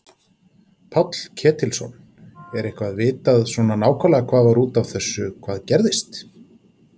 Páll Ketilsson: Er eitthvað vitað svona nákvæmlega hvað var út af þessu hvað gerðist?